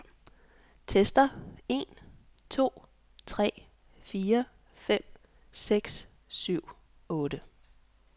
Tester en to tre fire fem seks syv otte.